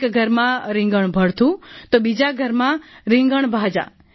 એક ઘરમાં રિંગણ ભડથું તો બીજા ઘરમાં રિંગણભાજા